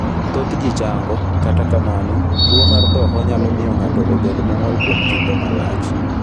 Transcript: Thothji chango, kata kamano, tuwo mar dhoho nyalo miyo ng'ato obed mong'ol kuom kinde malach.